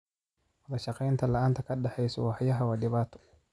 Wadashaqeyn la'aanta ka dhexeysa waaxyaha waa dhibaato.